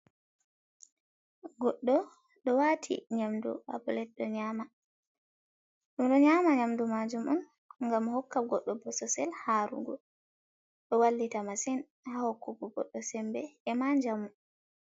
Goɗɗo ɗo wati nyamdu ha pilet ɗo nyama ɗum. Ɗo nyama nyamdu majum oun ngam hokka goɗɗo bososel harugo ɗo wallita masin ha hokkugo boddo sembe e ma njamu.